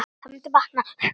Það mundi batna.